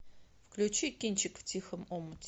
включи кинчик в тихом омуте